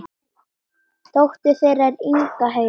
Dóttir þeirra er Inga Heiða.